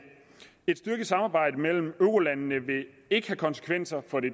et styrket samarbejde mellem eurolandene vil ikke have konsekvenser for det